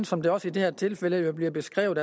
som det også i det her tilfælde bliver beskrevet